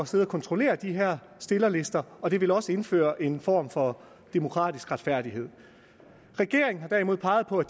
sidde og kontrollere de her stillerlister og det ville også indføre en form for demokratisk retfærdighed regeringen har derimod peget på at